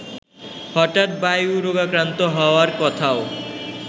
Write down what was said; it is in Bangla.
হঠাৎ বায়ুরোগাক্রান্ত হওয়ার কথাও